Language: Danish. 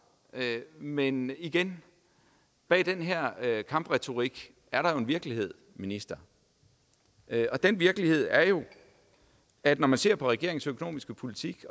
men igen bag den her kampretorik er der jo en virkelighed minister den virkelighed er jo at når man ser på regeringens økonomiske politik